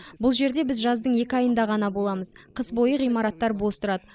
бұл жерде біз жаздың екі айында ғана боламыз қыс бойы ғимараттар бос тұрады